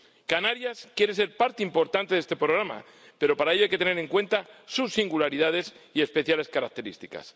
Canarias quiere ser parte importante de este programa, pero para ello hay que tener en cuenta sus singularidades y especiales características.